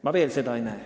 Ma veel seda ei näe.